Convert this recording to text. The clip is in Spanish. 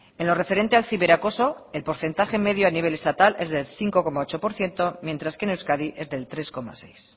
en lo referente al ciberacoso el porcentaje medio a nivel estatal es del cinco coma ocho por ciento mientras que en euskadi es del tres coma seis